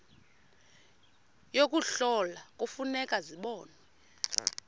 yokuhlola kufuneka zibonwe